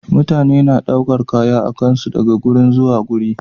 Mutane na ɗaukar Kaya akansu daga guri zuwa guri